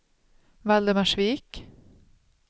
Valdemarsvik